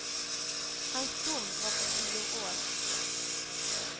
Hans dom var på tio år.